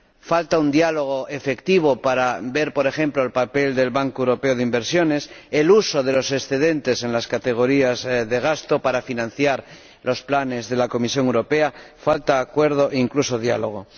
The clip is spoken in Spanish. Falta un diálogo efectivo para examinar, por ejemplo, el papel del Banco Europeo de Inversiones, el uso de los excedentes en las categorías de gasto para financiar los planes de la Comisión Europea. Falta acuerdo e incluso diálogo.